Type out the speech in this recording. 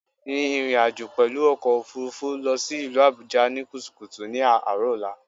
Rìn ìrìnàjò pèlú ọkò òfurufú lọ sí ìlú Àbújá ní kùtùkùtù ní àárò ọ̀la